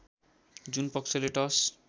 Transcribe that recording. जुन पक्षले टस